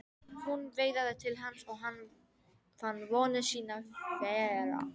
Hún veifaði til hans og hann fann vonir sínar þverra.